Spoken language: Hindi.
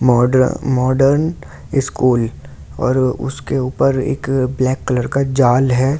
मॉडर्न मॉडर्न स्कूल और उसके ऊपर एक ब्लैक कलर का जाल है।